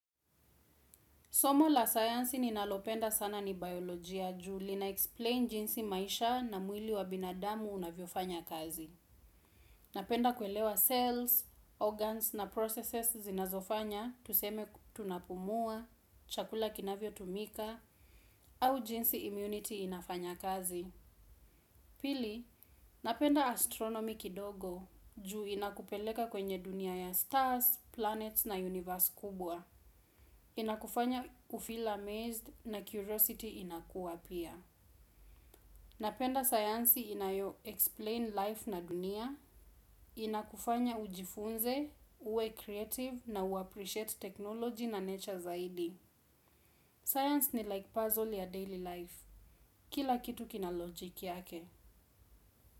Somo la science ninalopenda sana ni biolojia juu lina explain jinsi maisha na mwili wa binadamu unavyofanya kazi. Napenda kuelewa cells, organs na processes zinazofanya, tuseme tunapumua, chakula kinavyotumika, au jinsi immunity inafanya kazi. Pili, napenda astronomy kidogo juu inakupeleka kwenye dunia ya stars, planets na universe kubwa. Inakufanya u feel amazed na curiosity inakuwa pia. Napenda science inayo explain life na dunia. Inakufanya ujifunze, uwe creative na uappreciate technology na nature zaidi. Science ni like puzzle ya daily life. Kila kitu kina logic yake.